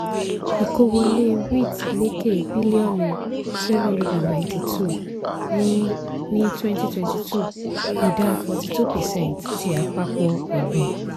ìkó wọlé wheat lékè bílíọ̀nu seven hundred and ninety-two ní ní twenty twenty two ìdá forty-two percent ti àpapọ̀ ọ̀gbìn.